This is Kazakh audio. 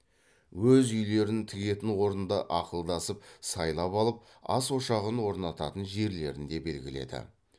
өз үйлерін тігетін орынды ақылдасып сайлап алып ас ошағын орнататын жерлерін де белгіледі